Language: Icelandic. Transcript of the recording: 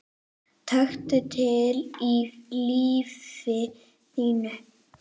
Taktu til í lífi þínu!